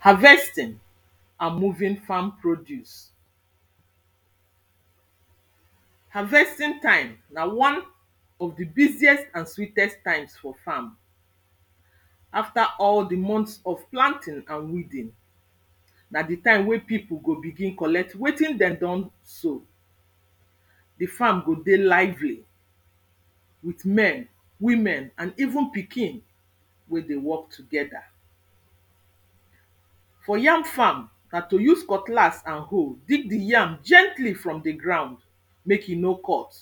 harvesting and moving farm produce harvesting time na one of di busiest and sweatest time for farm after all di month of planting and weeding by di time wey pipu go begin collect wetin dey don sow di farm go dey lively with men, women even pikin wey dey work together for yam farm na to use cutlass and hoe dig di yam gently from di ground mek e no cut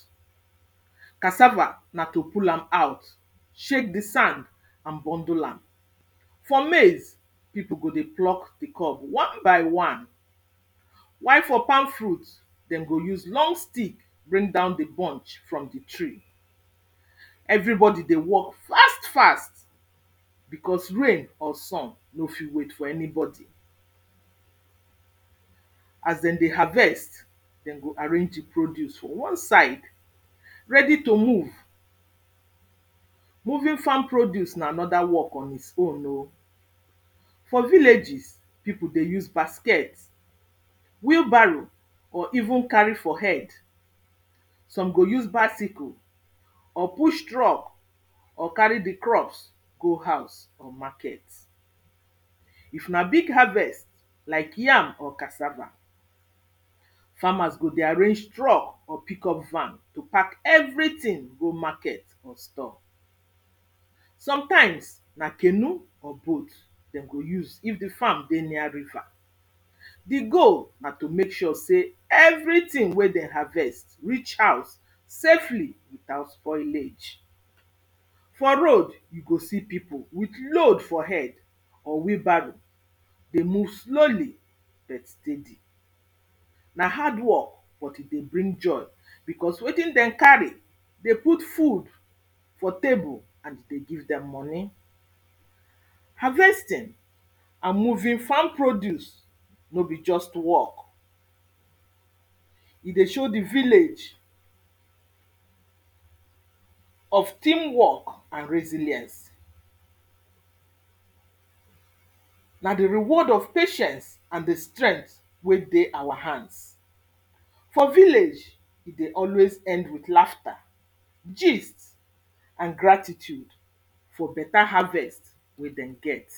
casava na to pull am out shake di sand and bundle am for maize pipu go dey pluck di cob one by one while for palm fruit den go use long stick bring down di bunch from di tree everybodi dey work fast fast because rain or sun no fit wait for anybodi as dem dey harvest dem go arrangre di produce one side ready to move moving farm produce na anoda work on its own oh for villages, pipu dey use basket wheelbarrow or even carry for head some go use bicycle or push truck or carry di crops go haus or market if na big harvest like yam or casava farmers go dey arrange truck or pickup van to pack everytin go market or store sometimes na canoe or boat dem go use if the farm dey near river di goal na to make sure sey everytin wen den harvest reach haus safely without spoilage for road you go see pipu with load for head or wheelbarrow dey move slowly but steady na hard work but e dey bring joy because wetin dem carry dey put food for table and e dey give dem moni harvesting and moving farm produce no be just work he dey show di village of team work and resiliance na di reward of patience and di strength wey dey our hands for village e dey always end with laughter gist and gratitude for beta harvest we den get